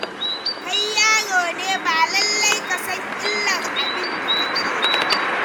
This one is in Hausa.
Kai yaro ne, ba lallai ka san illar abin da kake ba.